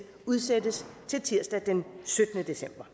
udsættes til tirsdag den syttende december